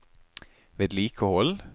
vedlikehold